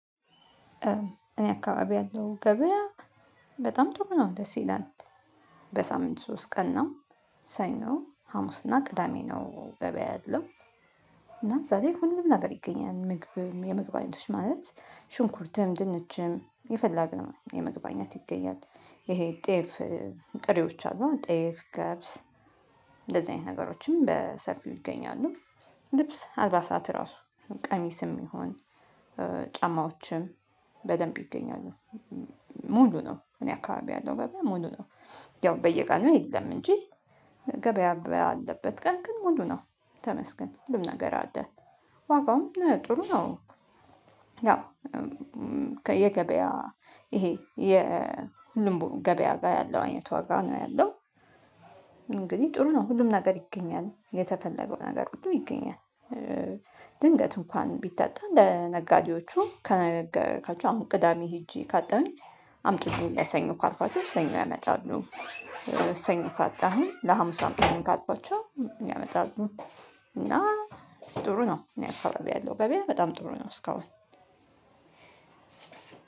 እኔ አካባቢ ያለው ገበያ በጣም ጥሩ ነው ደስ ይላል። በሳምንት ሶስት ቀን ነው ሰኞ ሀሙስ እና ቅዳሜ ነው ገበያ ያለው። እና ዛሬ ሁሉም ነገር ይገኛል ምግብም የምግብ አይነቶች ማለት ሽንኩርትም ድንችም የፈለግነው የምግብ አይኛት ይገኛል። ይሄ ጤፍ ጥሬዎች አሉ ጤፍ ገብስ እንደዚህ አይነት ነገሮችም በሰፊው ይገኛሉ። ልብስ አልባሳት ራሱ ቀሚስም ይሁን ጫማዎችም በደንብ ይገኛሉ። ሙሉ ነው እኔ አካባቢ ያለው ገበያ ሙሉ ነው። ያው በየቀኑ የለም እንጂ ገበያ ባለበት ቀን ግን ሙሉ ነው። ተመስገን ምንም ነገር አይደለም። ዋጋውም ጥሩ ነው። ያው ከየገበያ ይሄ የልምቡ ገበያ ጋር ያለው አይነት ዋጋ ነው ያለው። እንግዲህ ጥሩ ነው ሁሉም ነገር ይገኛል የተፈለገው ነገር ብዙ ይገኛል። ድንገት እንኳን ቢታጣ ለነጋዴዎቹ ከነገርካቸው አሁን ቅዳሜ ሄጄ ካጣን አምጥቼ ለሰኞ ካልኳቸው ሰኞ ያመጣሉ። ሰኞ ካጣሀኝ ለሀሙስ አምጡልኝ ካልኳችሁ ያመጣሉ እና ጥሩ ነው። እኔ አካባቢ ያለው ገበያ በጣም ጥሩ ነው። እስካሁን